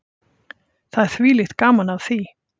Það er þvílíkt gaman af því.